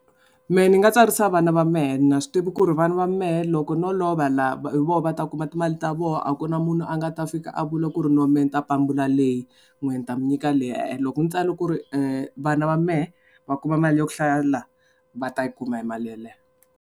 Mehe ni nga tsarisa vana va mehe ni swi tivi ku ri vana va mehe loko no lova laha hi vona va ta kuma timali ta vona a ku na munhu a nga ta fika a vula ku ri no me ni ta pambula leyi n'wehe ni ta mi nyika leyi e-e loko ni tsala ku ri vana va mehe va kuma mali ya ku hlaya la va ta yi kuma hi mali yaleyo.